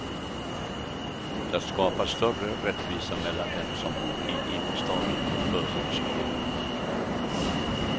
Det skapar större rättvisa mellan dem som bor i innerstaden och förortsborna.